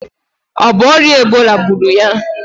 O bu oria Ebola gburu ya?